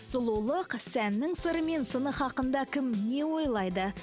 сұлулық сәннің сыры мен хақында кім не ойлайды